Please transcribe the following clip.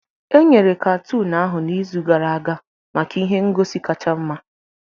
Enyere katoon ahụ n'izu gara aga maka ihe ngosi kacha mma